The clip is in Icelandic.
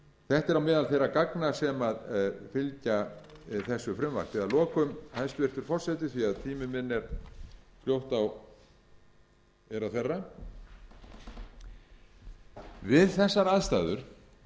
þetta er meðal þeirra gagna sem fylgja þessu frumvarpi að lokum hæstvirtur forseti því að tími minn er að vera við þessar aðstæður